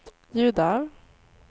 ljud av